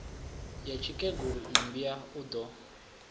ya tsikegulu mmbwa u do